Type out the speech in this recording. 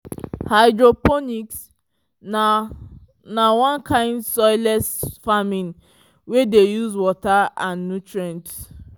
hydroponics na na one kind soilless farming wey dey use water and nutrients